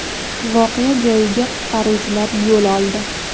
Voqea joyiga qutqaruvchilar yo‘l oldi.